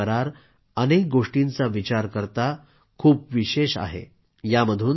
हा सामंजस्य करार अनेक गोष्टींचा विचार करता खूप विशेष आहे